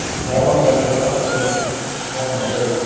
Svona fjarri mannabyggðum ef svo má segja?